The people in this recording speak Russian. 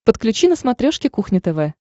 подключи на смотрешке кухня тв